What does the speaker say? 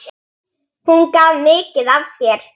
Hún gaf mikið af sér.